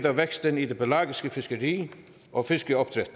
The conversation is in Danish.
af væksten i det pelagiske fiskeri og fiskeopdræt